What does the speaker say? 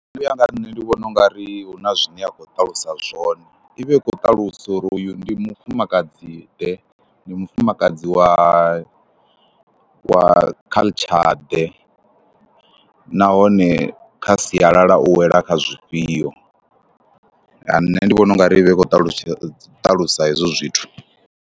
Nṋe u ya nga ha nṋe ndi vhona u nga ri hu na zwine ya khou ṱalusa zwone, i vha i khou ṱalusa uri hoyu ndi mufumakadziḓe, ndi mufumakadzi wa wa culture ḓe nahone kha sialala u wela kha zwifhio. Nṋe ndi vhona u nga ri i vha i khou ṱalutshedza ṱalusa hezwo zwithu.